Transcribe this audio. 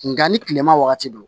Nga ni kilema wagati don